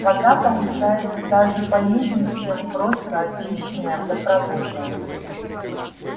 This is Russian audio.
вода получается даже полезней чем просто очищенная водопроводная